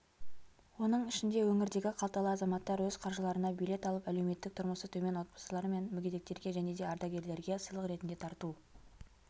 оның ішінде өңірдегі қалталы азаматтар өз қаржыларына билет алып әлеуметтік тұрмысы төмен отбасылар мен мүгедектерге және де ардагерлерге сыйлық ретінде тарту